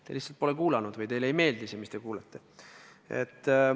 Te lihtsalt pole kuulanud või teile ei meeldi see, mis te kuulete.